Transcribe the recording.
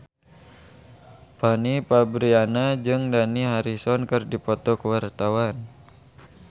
Fanny Fabriana jeung Dani Harrison keur dipoto ku wartawan